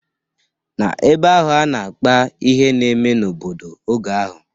N'ebe ahụ a na-akpa ihe na-eme n'obodo oge ahụ